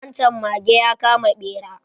Wan chan mage ya kama bera